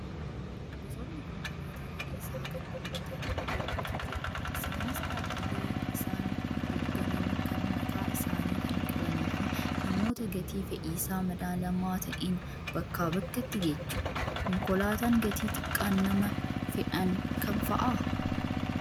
Gosoonni konkolaataa fe'iisaa kan namootaa hedduutu jira. Isaanis dhaabbilee isaan hoogganan kan mataa isaanii kan qabanii fi namoota gatii fe'iisaa madaalamaa ta'een bakkaa bakkatti geejjibu. Konkolaataan gatii xiqqaan nama fe'an kam fa'aa?